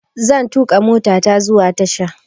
Zan tuƙa motata zuwa tasha.